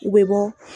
U bɛ bɔ